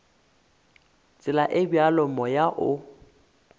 tsela e bjalo moya o